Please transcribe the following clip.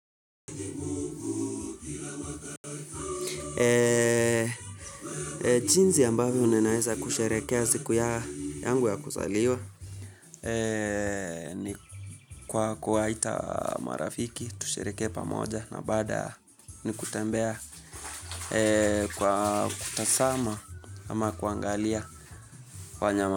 Eee, jinsi ambavyo ninaeza kusherekea siku yangu ya kuzaliwa. Eee, ni kwa kuwaita marafiki, tusherekee pamoja na bada ni kutembea, kwa kutazama ama kuangalia wanyama.